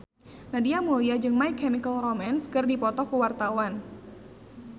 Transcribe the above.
Nadia Mulya jeung My Chemical Romance keur dipoto ku wartawan